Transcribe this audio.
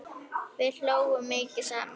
Við hlógum mikið saman.